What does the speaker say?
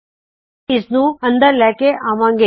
ਮੈ ਇਸਨੂੰ ਅੰਦਰ ਲੈ ਕੇ ਆਉਂ ਗੀ